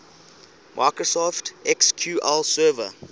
microsoft sql server